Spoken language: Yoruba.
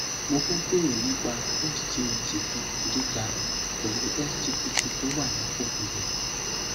mo fẹ bèrè ni pa sgot gíga pẹlú sgpt tó wà nípò tó yẹ